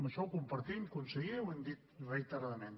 això ho compartim conseller ho hem dit reiteradament